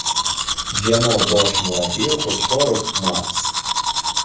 Jamoa bosh murabbiyi Qo‘chqorov Mars.